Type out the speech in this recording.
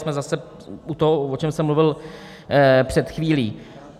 Jsme zase u toho, o čem jsem mluvil před chvílí.